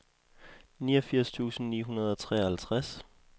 niogfirs tusind ni hundrede og treoghalvtreds